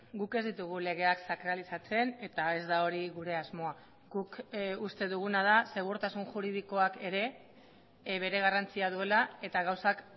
guk ez ditugu legeak sakralizatzen eta ez da hori gure asmoa guk uste duguna da segurtasun juridikoak ere bere garrantzia duela eta gauzak